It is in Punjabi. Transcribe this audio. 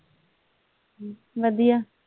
ਵਧੀਆ।